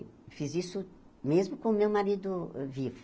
Fiz isso mesmo com o meu marido vivo.